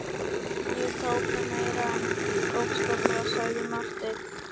Ég tók það meira en bókstaflega, sagði Marteinn.